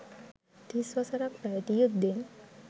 තිස් වසරක් පැවති යුද්ධයෙන්